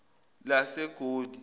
lasegoli